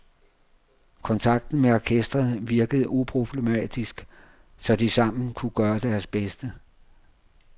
Kontakten med orkestret virkede uproblematisk, så de sammen kunne gøre deres bedste.